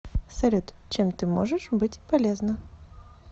салют чем ты можешь быть полезна